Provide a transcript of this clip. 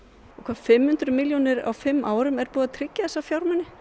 fimm hundruð milljónir á fimm árum er búið tryggja þessa fjármuni